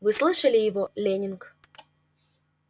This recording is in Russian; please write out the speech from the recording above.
вы слышали его лэннинг